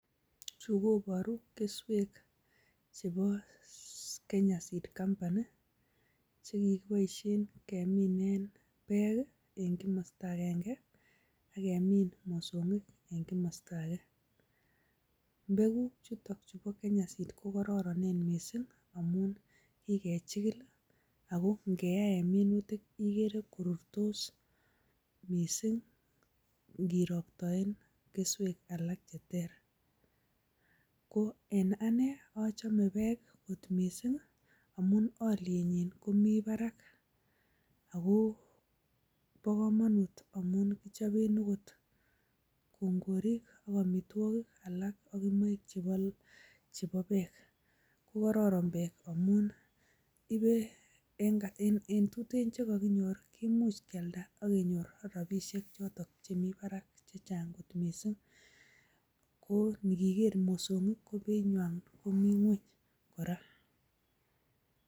Chu koboru keswek chebo Kenya Seed Company, chekigiboisien keminen bek en kimosto agenge, ak kemin mosong'ik en komosto age. Mbekuk chuto chebo Kenya Seed kokororon mising amun kegichigil ago ngeyaen minutik igere korurtos mising ingiroktoenkeswek alak che ter. Koen anee achame bek kot mising amun olyenyin komi barak. Ago bo komonut amun kechoben agot, kongorik ak amitwogik alak, ak imoik chebo bek. Ko kororon bek amun ibe, en tuten che koginyor ko kimuch kyalda ak kenyor rabishek choto chemi barak che chang kot mising. Ko iniger mosong'ik ko beinywan komi ng'weny kora.